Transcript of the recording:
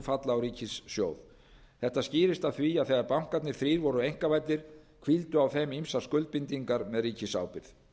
falla á ríkissjóð þetta skýrist af því þegar bankarnir þrír voru einkavæddir hvíldu á þeim ýmsar skuldbindingar með ríkisábyrgð